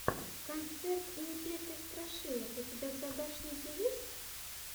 концерт непеты страшилок у тебя в загашнике есть